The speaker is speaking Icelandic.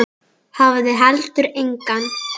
Hafði heldur enga.